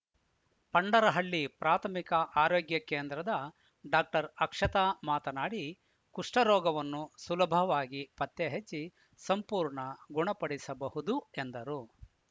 ಪಂಡರಹಳ್ಳಿ ಪ್ರಾಥಮಿಕ ಆರೋಗ್ಯ ಕೇಂದ್ರದ ಡಾಕ್ಟರ್ ಅಕ್ಷತಾ ಮಾತನಾಡಿ ಕುಷ್ಠರೋಗವನ್ನು ಸುಲಭವಾಗಿ ಪತ್ತೆಹಚ್ಚಿ ಸಂಪೂರ್ಣ ಗುಣಪಡಿಸಬಹುದು ಎಂದರು